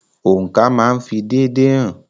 Oǹkà máa ń fi déédéé hàn.